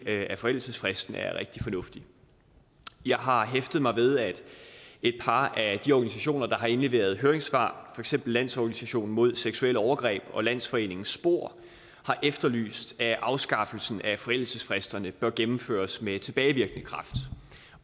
af forældelsesfristen selvfølgelig er rigtig fornuftig jeg har hæftet mig ved at et par af de organisationer der har indleveret høringssvar for eksempel landsorganisationen mod seksuelle overgreb og landsforeningen spor har efterlyst at afskaffelsen af forældelsesfristerne bør gennemføres med tilbagevirkende kraft